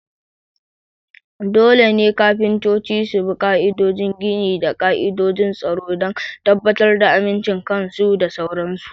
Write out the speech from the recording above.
Dole ne kafintoci su bi ka'idodin gini da ka'idojin tsaro don tabbatar da amincin kansu da sauran su.